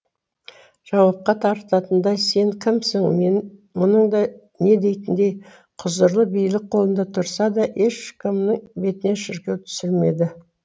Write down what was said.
жауапқа тартатындай сен кімсің мен мұның да не дейтіндей құзырлы билік қолында тұрса да ешкімнің бетіне шіркеу түсірмеді